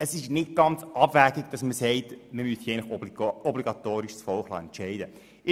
Es ist deshalb nicht ganz abwegig zu sagen, man müsse das Volk obligatorisch darüber entscheiden lassen.